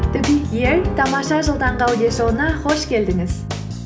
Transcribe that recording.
тамаша жыл таңғы аудиошоуына қош келдіңіз